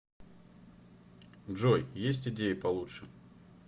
джой есть идеи получше